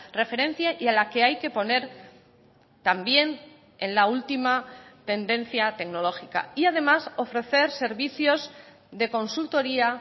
referencia y a la que hay que poner también en la última tendencia tecnológica y además ofrecer servicios de consultoría